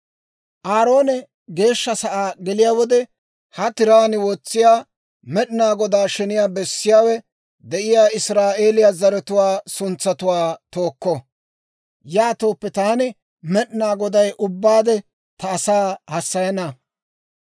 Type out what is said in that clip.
«Aaroone Geeshsha sa'aa geliyaa wode, ha tiraan wotsiyaa Med'inaa Godaa sheniyaa bessiyaawe de'iyaa Israa'eeliyaa zaratuwaa suntsatuwaa tookko. Yaatooppe taani Med'inaa Goday ubbaade ta asaa hassayana.